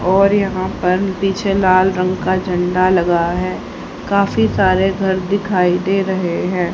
और यहां पर पीछे लाल रंग का झंडा लगा है काफी सारे घर दिखाई दे रहे हैं।